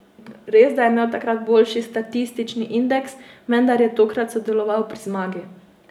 Res, da je imel takrat boljši statistični indeks, vendar je tokrat sodeloval pri zmagi.